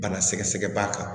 Bana sɛgɛsɛgɛ b'a kan